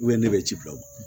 ne bɛ ci bila o ma